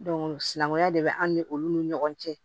sinankunya de be an ni olu ni ɲɔgɔn cɛ